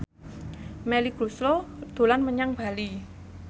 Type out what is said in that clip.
Melly Goeslaw dolan menyang Bali